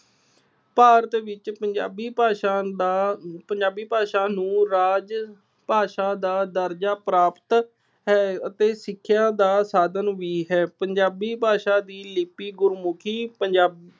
ਭਾਰਤ ਵਿੱਚ ਪੰਜਾਬੀ ਭਾਸ਼ਾ ਦਾ, ਪੰਜਾਬੀ ਭਾਸ਼ਾ ਨੂੰ ਰਾਜ ਭਾਸ਼ਾ ਦਾ ਦਰਜਾ ਪ੍ਰਾਪਤ ਹੈ ਅਤੇ ਸਿੱਖਿਆ ਦਾ ਸਾਧਨ ਵੀ ਹੈ। ਪੰਜਾਬੀ ਭਾਸ਼ਾ ਦੀ ਲਿੱਪੀ ਗੁਰਮੁਖੀ ਪੰਜਾਬ